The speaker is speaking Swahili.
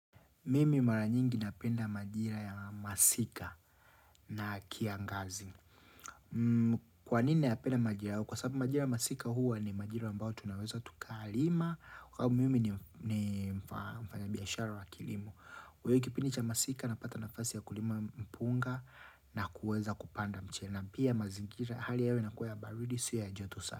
Mimi mara nyingi ninapenda majira ya masika na kiangazi. Kwanini ninayapenda majira? Kwa sababu majira ya masika huwa ni majira ambayo tunaweza tukalima. Kwasababu mimi ni mfanyabiashara wa kilimo. Kwa hiyo kipindi cha masika napata nafasi ya kulima mpunga na kuweza kupanda mchina. Pia mazingira hali ya hewa inakuwa ya baridi siyo ya joto sana.